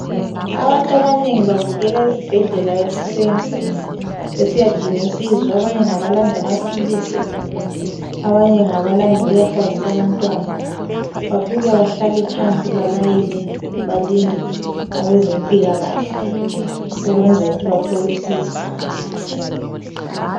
Abantu abanengi bavukela ezibhedlela ekuseni besiyadinga usizo abanye ngabalanda amaphilizi abanye ngabalanda ukuyahlabisa abantwana. Bafika bahlale phansi balayine balinde abezempilakahle ukwenzela ukuthi bathole usizo.